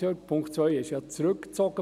Den Punkt 2 haben Sie ja zurückgezogen.